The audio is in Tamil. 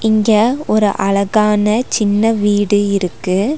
இங்க ஒரு அழகான சின்ன வீடு இருக்கு.